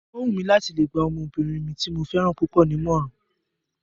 O wù mí láti lè gba ọmọbìnrin mi tí mo fẹ́ràn púpọ̀ ní ìmọ̀ràn